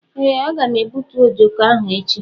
Ee aga m egbútú ojoko ahụ echi..